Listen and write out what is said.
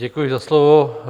Děkuji za slovo.